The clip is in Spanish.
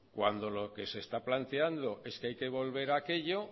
cuando lo que se está planteando es que hay que volver a aquello